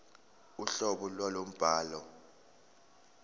uhlobo lwalowo mbhalo